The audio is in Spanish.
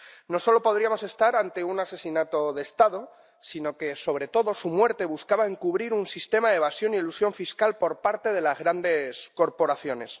No solo podríamos estar ante un asesinato de Estado, sino que, sobre todo, su muerte buscaba encubrir un sistema de evasión y elusión fiscal por parte de las grandes corporaciones.